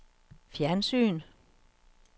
fjernsyn